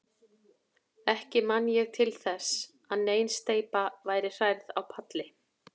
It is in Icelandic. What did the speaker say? Ekki man ég til þess, að nein steypa væri hrærð á palli.